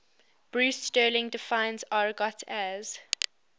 bruce sterling defines argot as